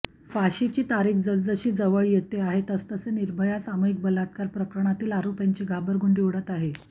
फाशीची तारीख जसजशी जवळ येत आहे तसतसे निर्भया सामूहिक बलात्कार प्रकरणातील आरोपींची घाबरगुंडी उडत आहे